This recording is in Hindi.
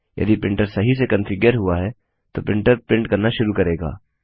यदि प्रिंटर सही से कन्फिग्यर हुआ है तो प्रिंटर प्रिंट करना शुरू करेगा